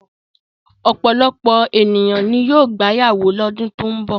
Ọ̀pọ̀lọpọ̀ ènìyàn ni yóò gbéyàwó lọ́dún tó ń bọ̀.